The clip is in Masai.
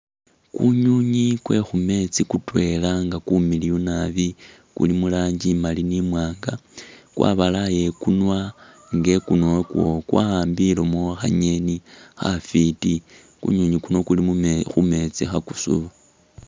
Kunywinywi kwe khu meetsi kutwela nga kumiliyu nabi, kuli mu langi imali ni imwaanga, kwabalaya ikunwa nga ikunwa wakwo kwawambileyo khangeni khafwiti, kunywinywi kuno kuli mu khu meetsi khakusuba.